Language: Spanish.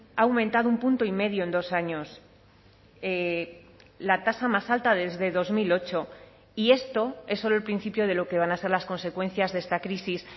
ha aumentado un punto y medio en dos años la tasa más alta desde dos mil ocho y esto es solo el principio de lo que van a ser las consecuencias de esta crisis